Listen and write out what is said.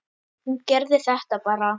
Hún gerði þetta bara.